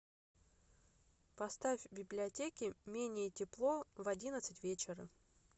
поставь в библиотеке менее тепло в одиннадцать вечера